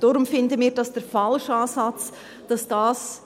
Deshalb finden wir es den falschen Ansatz, dass dies …